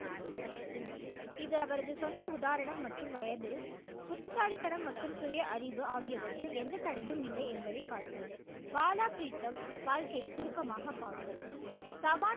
இது அவரது சொந்த உதாரணம் மற்றும் வயது புத்திசாலிதனம் மற்றும் சுயஅறிவு ஆகியவற்றில் எந்த தடையும் இல்லை என்பதை காட்டியது பாலா ப்ரீதம் வாழ்க்கையை சுருக்கமாக பார்போம் சவான்